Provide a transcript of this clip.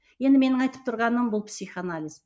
енді менің айтып тұрғаным бұл психоанализ